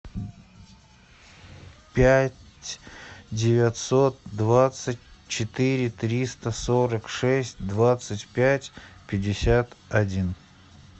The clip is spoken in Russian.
пять девятьсот двадцать четыре триста сорок шесть двадцать пять пятьдесят один